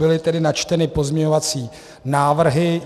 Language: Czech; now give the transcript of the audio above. Byly tedy načteny pozměňovací návrhy.